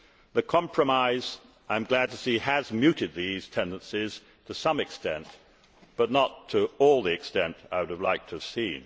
The compromise, I am glad to see, has muted these tendencies to some extent, but not to the extent I would have liked to have seen.